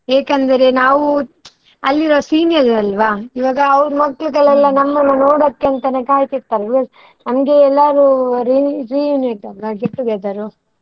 ಏಕೆ ಅಂದರೆ ನಾವು ಅಲ್ಲಿರೋ seniors ಅಲ್ವಾ, ಇವಾಗ ಅವ್ರು ಮಕ್ಕಳಿಗೆ ನಮ್ಮನ್ನು ನೋಡುವಕಾಂತನೇ ಕಾಯ್ತಿರ್ತಾರೆ, ಹಂಗೆ ಎಲ್ಲರೂ re~ reunite ಅಲ್ಲ get together .